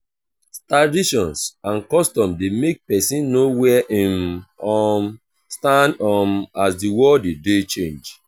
traditions and customs de make persin know where im um stand um as di world de de change